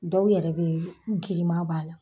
Dɔw yɛrɛ bɛ girima b'a la.